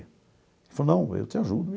Ele falou, não, eu te ajudo.